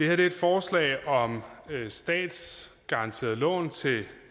er et forslag om statsgaranteret lån til